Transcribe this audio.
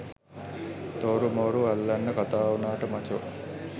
තෝරු මෝරු අල්ලන්න කතා උනාට මචෝ